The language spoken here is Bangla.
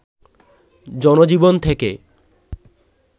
জনজীবন থেকে